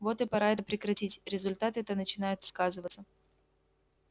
вот и пора это прекратить результаты-то начинают сказываться